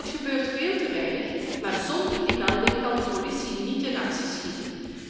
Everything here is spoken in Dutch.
Dat gebeurt veel te weinig, maar zonder die melding kan de politie niet in actie komen.